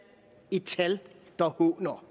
et tal der håner